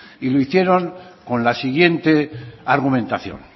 y lo hicieron con la siguiente argumentación